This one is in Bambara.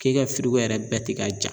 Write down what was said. K'e ka yɛrɛ bɛɛ tɛ ka ja